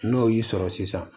N'o y'i sɔrɔ sisan